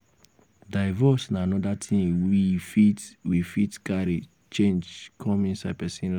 divorce na anoda thing we fit we fit carry change come inside person life